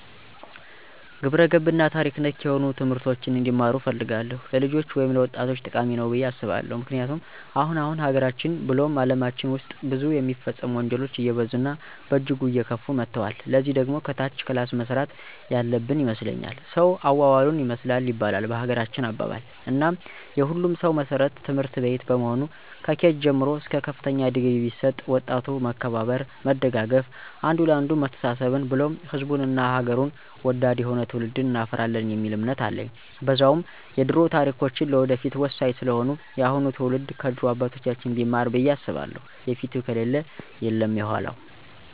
ግብረገብ እና ታሪክ ነክ ነሆኑ ትምህርቶችን እንዲማሩ እፈልጋለሁ። ለልጆች ወይም ለወጣቶቸ ጠቃሚ ነዉ ብየ አስባለሁ። ምክንያቱም አሁን አሁን ሀገራችን ብሉም አለማችን ዉስጥ ብዙ የሚፈጸሙ ወንጀሎች አየበዙ እና በእጅጉ አየከፉ መተወል። ለዚህ ደግሞ ከታች ክላስ መሰራት ያለበን ይመስለኛል። ሰዉ አዋዋሉን ይመስላል ይባላል በሀገራችን አባባል፦ እናም የሁሉም ሰዉ መሰረቱ ትምህርትቤት በመሆኑ ከኬጅ ጀምሮ እስከ ከፍተኛ ድግሪ ቢሰጥ ወጣቱ መከባበር፣ መደጋገፍ፣ አንዱ ለአንዱ መተሳሰብን ብሉም ሕዝቡን እና ሐገሩን ወዳድ የሆነ ትዉልድ እናፈራለን የሚል እምነት አለኝ። በዛዉም የደሮ ታሪካችን ለወደፊቱ ወሳኝ ስለሆነ የአሁኑ ትዉልድ ከድሮ አባቶቻችን ቢማር ብየ አስባለሁ የፊቱ ከሌለ የለም የዃላዉ።